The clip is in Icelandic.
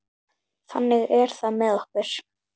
Þannig er það með okkur.